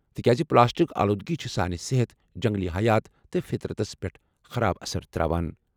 تِکیازِ پلاسٹک آلودگی چُھ سانہِ صحت، جنگلی حیات تہٕ فطرتس پیٹھ خراب اثر تراوان۔